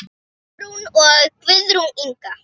Sigrún og Guðrún Inga.